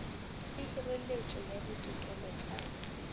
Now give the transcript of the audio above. le hireletšo ya ditokelo tša